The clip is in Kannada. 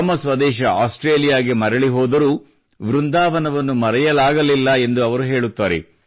ತಮ್ಮ ಸ್ವದೇಶ ಆಸ್ಟ್ರೇಲಿಯಾಕ್ಕೆ ಮರಳಿ ಹೋದರೂ ವೃಂದಾವನವನ್ನು ಮರೆಯಲಾಗಲಿಲ್ಲ ಎಂದು ಅವರು ಹೇಳುತ್ತಾರೆ